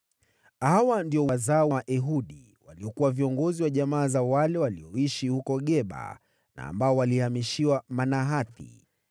Hawa ndio wazao wa Ehudi, waliokuwa viongozi wa jamaa za wale walioishi huko Geba na ambao walihamishiwa Manahathi: